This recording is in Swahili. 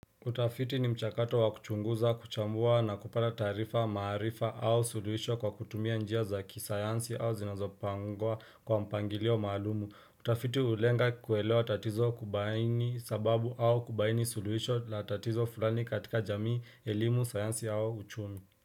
Utafiti ni mchakato wa kuchunguza, kuchambua na kupata tarifa, maarifa au suluhisho kwa kutumia njia za kisayansi au zinazopangwa kwa mpangilio maalumu. Utafiti hulenga kuelewa tatizo kubaini sababu au kubaini suluhisho la tatizo fulani katika jamii, elimu, sayansi au uchumi.